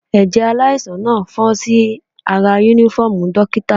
Ẹ̀jẹ̀ aláìsàn náà fọ́n sí ara uniform dókítà.